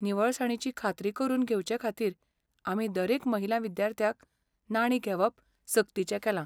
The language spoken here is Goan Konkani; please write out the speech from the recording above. निवळसाणीची खात्री करून घेवचेखातीर, आमी दरेक महिला विद्यार्थ्याक नाणीं घेवप सक्तीचें केलां.